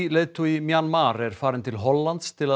leiðtogi Mjanmar er farin til Hollands til